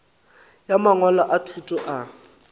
ya mangwalo a thuto a